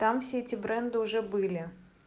там все эти бренды уже были